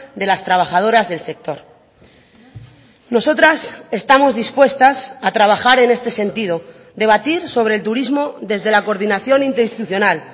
de las trabajadoras del sector nosotras estamos dispuestas a trabajar en este sentido debatir sobre el turismo desde la coordinación interinstitucional